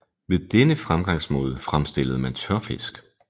Ved denne fremgangsmåde fremstillede man tørfisk